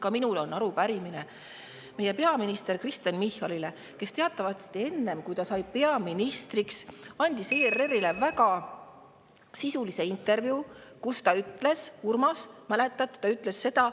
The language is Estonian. Ka minul on arupärimine meie peaministrile Kristen Michalile, kes teatavasti enne, kui ta peaministriks sai, andis ERR-ile väga sisulise intervjuu, kus ta ütles – Urmas, mäletad?